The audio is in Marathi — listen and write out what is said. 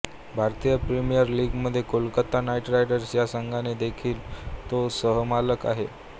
भारतीय प्रीमियर लीगमधील कोलकाता नाईट रायडर्स ह्या संघाचा देखील तो सहमालक आहे